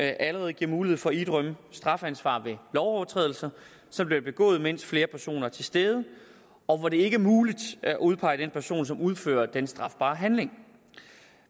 allerede giver mulighed for at idømme straffeansvar ved lovovertrædelser som bliver begået mens flere personer er til stede og hvor det ikke er muligt at udpege den person som udfører den strafbare handling